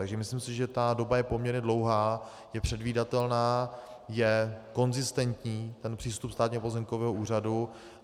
Takže si myslím, že ta doba je poměrně dlouhá, je předvídatelná, je konzistentní ten přístup Státního pozemkového úřadu.